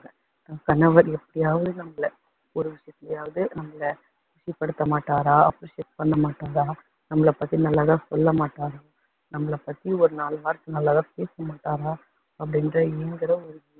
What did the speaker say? கணவர் எப்படியாவது நம்மளை ஒரு விஷயதுலையாவது நம்மளை படுத்த மாட்டாரா appreciate பண்ண மாட்டாரா, நம்மளை பத்தி நல்லதா சொல்ல மாட்டாரா, நம்மளை பத்தி ஒரு நாலு வார்த்தை நல்லாதா பேச மாட்டாரா அப்படின்னுட்டு